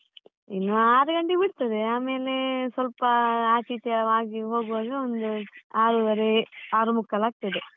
ಇನ್ನು ಆರು ಗಂಟೆಗೆ ಬಿಡ್ತದೆ, ಆಮೇಲೆ ಸ್ವಲ್ಪ ಆಚೆ ಈಚೆ ಆಗಿ ಹೋಗುವಾಗ ಒಂದು ಆರುವರೆ ಆರು ಮುಕ್ಕಾಲಾಗ್ತದೆ.